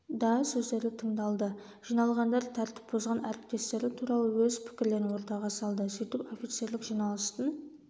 да сөздері тыңдалды жиналғандар тәртіп бұзған әріптестері туралы өз пікірлерін ортаға салды сөйтіп офицерлік жиналыстың